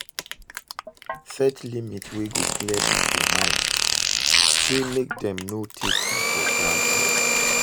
Set limit wey go clear pipo mind sey mek dem no take yu for granted